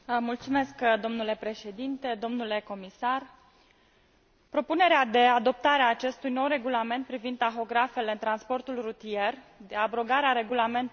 Domnule președinte, domnule comisar, propunerea de adoptare a acestui nou regulament privind tahografele în transportul rutier, de abrogare a Regulamentului nr.